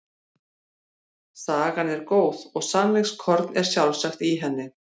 Sagan er góð og sannleikskorn er sjálfsagt í henni.